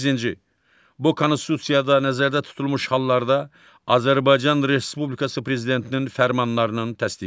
Səkkizinci, bu Konstitusiyada nəzərdə tutulmuş hallarda Azərbaycan Respublikası Prezidentinin fərmanlarının təsdiqi.